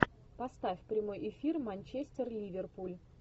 поставь прямой эфир манчестер ливерпуль